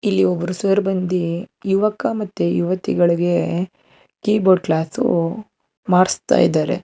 ಇಲ್ಲಿ ಒಬ್ಬರು ಸರ್ ಬಂದಿ ಯುವಕ ಮತ್ತೆ ಯುವತಿಗಳಿಗೆ ಕೀಬೋರ್ಡ್ ಕ್ಲಾಸು ಮಾಡಿಸ್ತಾ ಇದ್ದಾರೆ.